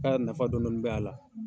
K'a nafa dɔni dɔni bɛ'a la